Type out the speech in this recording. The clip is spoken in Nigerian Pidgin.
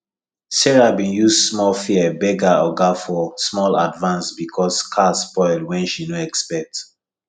sarah been use small fear beg her oga for small advance because car spoil wen she no expect